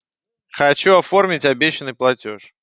хочу оформить обещанный платёж